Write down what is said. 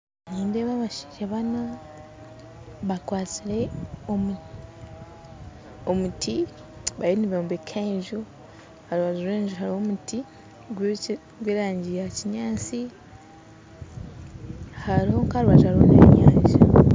Nindeeba abashaija bana kakwatsire omuti bariyo nibombeka enju aharubaju rw'enju hariho omuti gw'erangi ya kinyantsinyantsi hariho nka rubaju hariho n'enyanja.